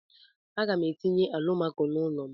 A ga m etinye alụmako n'ulo m.